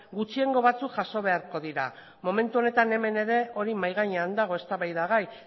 gutxiengo batzuk jaso beharko dira momentu honetan hemen ere hori mahai gainean dago eztabaida gai